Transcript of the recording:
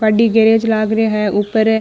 गद्दी garage लाग रे है ऊपर --